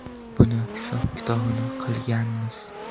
Buni hisob-kitobini qilganmiz.